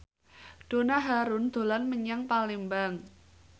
Donna Harun dolan menyang Palembang